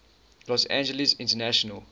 los angeles international